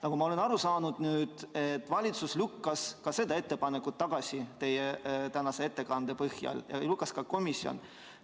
Nagu ma olen aru saanud teie tänase ettekande põhjal, siis valitsus lükkas selle ettepaneku tagasi ja selle lükkas tagasi ka komisjon.